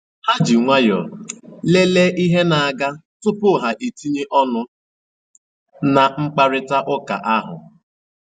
Ha ji nwayọọ lele ihe na-aga tupu ha tinye ọnụ na mkparitauka ahụ.